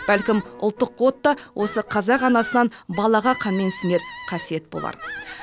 бәлкім ұлттық код та осы қазақ анасынан балаға канмен сінер қасиет болар